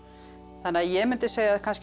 þannig að ég mundi segja kannski